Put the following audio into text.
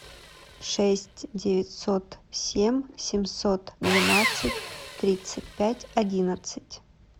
шесть девятьсот семь семьсот двенадцать тридцать пять одиннадцать